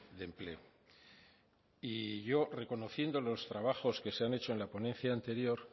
de empleo y yo reconociendo los trabajos que se han hecho en la ponencia anterior